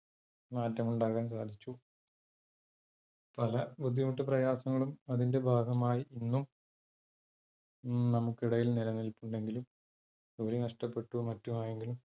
മാറ്റങ്ങള് ഉണ്ടാക്കാൻ സാധിച്ചു. പല ബുദ്ധിമുട്ട് പ്രയാസങ്ങളും അതിന്റെ ഭാഗമായി ഇന്നും നമുക്ക് ഇടയിൽ നിലനിലപ്പുണ്ടെങ്കിലും, ജോലി നഷ്ടപ്പെട്ടു മറ്റും ആയെങ്കിലും,